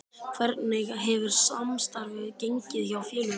Hvernig hefur samstarfið gengið hjá félögunum?